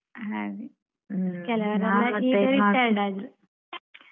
ಹಾಗೆ ಕೆಲವೊರೆಲ್ಲ ಈಗ retired ಆದ್ರೂ.